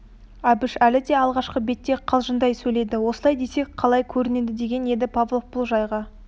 әбіш әлі де алғашқы бетте қалжыңдай сөйледі осылай десек қалай көрінеді деген еді павлов бұл жайға